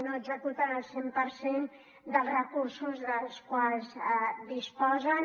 no executen el cent per cent dels recursos dels quals disposen